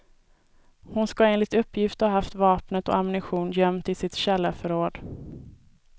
Hon ska enligt uppgift ha haft vapnet och ammunition gömt i sitt källarförråd.